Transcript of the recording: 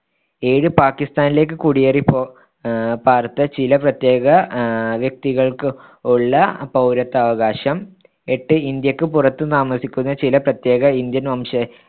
ഏഴ് പാകിസ്താനിലേക്ക്‌ കുടിയേറിപ്പോ ആഹ് പ്പാർത്ത ചില പ്രത്യേക ആഹ് വ്യക്തികൾക്കുള്ള പൗരത്വാവകാശം എട്ട് ഇന്ത്യക്ക്‌ പുറത്ത്‌ താമസിക്കുന്ന ചില പ്രത്യേക indian വംശനിയമമുപയോഗിച്ച്‌ പൗരത്വാവശ